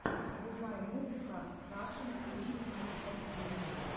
врубай музыка рашн уиз анастасии